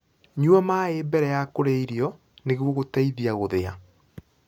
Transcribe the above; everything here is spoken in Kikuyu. Nyua maĩ mbere ya kurĩa irio nĩguo guteithia guthia